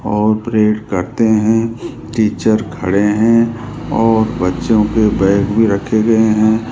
और प्रेड करते हैं टीचर खड़े हैं और बच्चों के बैग भी रखे हुए हैं।